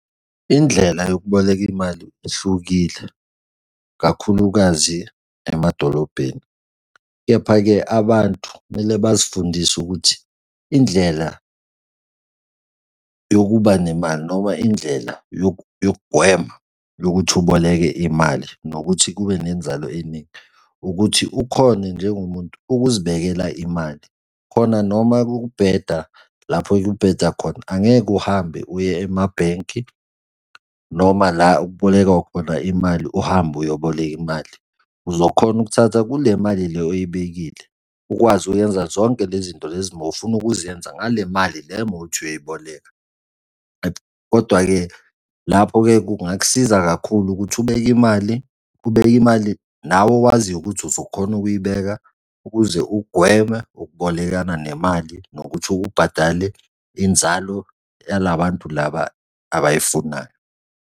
Indlela yokuboleka imali ihlukile, kakhulukazi emadolobheni. Kepha-ke, abantu kumele bazifundise ukuthi indlela yokuba nemali noma indlela yokugwema yokuthi uboleke imali nokuthi kube nenzalo eningi ukuthi ukhone njengomuntu ukuzibekela imali, khona noma kubheda lapho kubheda khona angeke uhambe uye emabhenki noma la ekubolekwa khona imali uhambe uyoboleka imali. Uzokhona ukuthatha kule mali le oyibekile ukwazi ukuyenza zonke lezi nto lezi mowufuna ukuzenza ngale mali le mowuthi uyoyiboleka. Kodwa-ke lapho-ke kungakusiza kakhulu ukuthi ubeke imali, ubeke imali nawe owaziyo ukuthi uzokhona ukuyibeka ukuze ugweme ukubolekana nemali nokuthi ubhadale inzalo yala bantu laba abayifunayo.